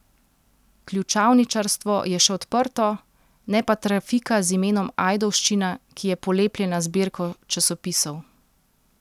Ključavničarstvo je še odprto, ne pa trafika z imenom Ajdovščina, ki je polepljena z zbirko časopisov.